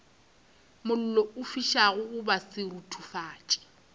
mollo o fišago goba seruthufatši